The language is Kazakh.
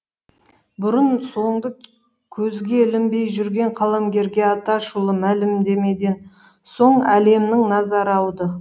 бұрын соңды көзге ілінбей жүрген қаламгерге атышулы мәлімдемеден соң әлемнің назары ауды